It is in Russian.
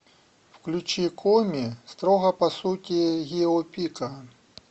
включи коми строго по сути гио пика